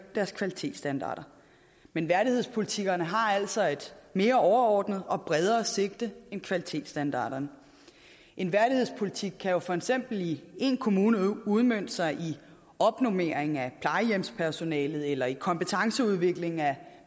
deres kvalitetsstandarder men værdighedspolitikkerne har altså et mere overordnet og bredere sigte end kvalitetsstandarderne en værdighedspolitik kan jo for eksempel i én kommune udmønte sig i opnormering af plejehjemspersonalet eller i kompetenceudvikling af